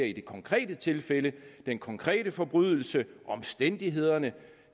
i det konkrete tilfælde at vurdere den konkrete forbrydelse og omstændighederne